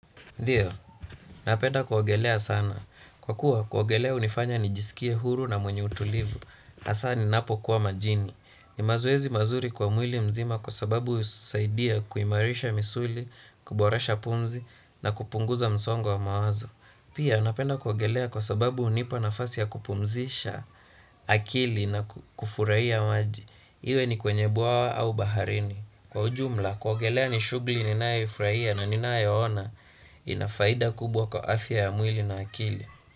Ndiyo, napenda kuogelea sana. Kwa kuwa kuogelea hunifanya nijisikie huru na mwenye utulivu. Hasa ninapo kuwa majini. Ni mazoezi mazuri kwa mwili mzima kwa sababu husaidia kuimarisha misuli, kuboresha pumzi na kupunguza msongo wa mawazo. Pia napenda kuogelea kwa sababu hunipa nafasi ya kupumzisha akili na kufurahia maji. Iwe ni kwenye bwawa au baharini. Kwa ujumla kuogelea ni shughuli ninayoifurahia na ninayoona ina faida kubwa kwa afya ya mwili na akili.